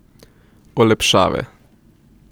Olepšave...